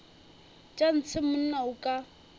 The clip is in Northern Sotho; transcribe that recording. tša ntshe monna o ka